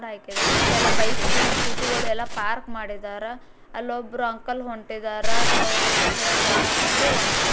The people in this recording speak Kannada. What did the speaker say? ಕೆಲ ಬೈಕು ಸ್ಕೂಟಿ ಗಳೆಲ್ಲ ಪಾರಕ ಮಾಡಿದ್ದಾರೆ ಅಲ್ಲಿ ಒಬ್ಬರ ಅಂಕಲ್ ಹೊಂಟಿದ್ದಾರ್ ಅವ್ರು ಕಿಶೆದಾಗ್ ಕೈ ಹಾಕೊಂಡು ಹೊಂಟರ.